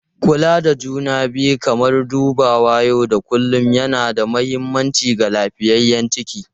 Kula da juna biyu kamar dubawa na yau da kullun yana da mahimmanci ga lafiyayyen ciki.